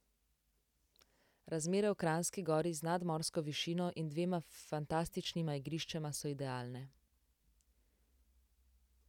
Razmere v Kranjski Gori z nadmorsko višino in dvema fantastičnima igriščema so idealne.